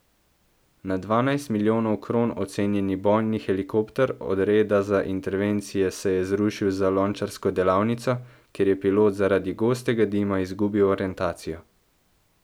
Na dvanajst milijonov kron ocenjeni bojni helikopter odreda za intervencije se je zrušil za lončarsko delavnico, ker je pilot zaradi gostega dima izgubil orientacijo.